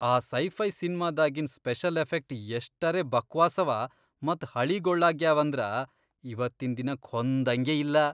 ಆ ಸೈಫೈ ಸಿನ್ಮಾದಾಗಿನ್ special effect ಎಷ್ಟರೇ ಬಕ್ವಾಸವ ಮತ್ ಹಳೀಗೊಳ್ಳಾಗ್ಯಾವಂದ್ರ ಇವತ್ತಿನ್ ದಿನಕ್ ಹೊಂದಂಗೇ ಇಲ್ಲಾ.